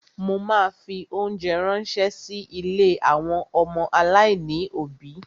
Mo ma fi óńjẹ ránṣẹ́ sí ilé àwọn ọmọ aláìní òbí.